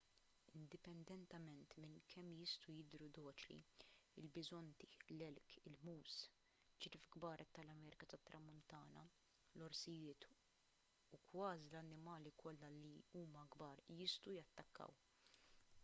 indipendentement minn kemm jistgħu jidhru doċli il-biżonti l-elk il-moose ċriev kbar tal-amerika tat-tramuntana l-orsijiet u kważi l-annimali kollha li huma kbar jistgħu jattakkaw